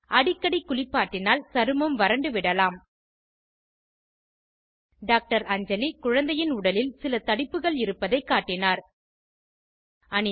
அடிக்கடி குளிப்பாட்டினால் சருமம் வறண்டு விடலாம் டாக்டர் அஞ்சலி குழந்தையின் உடலில் சில தடிப்புகள் இருப்பதைக் காட்டினார்